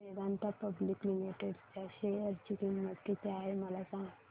आज Vedanta public limited च्या share ची किंमत किती आहे मला सांगा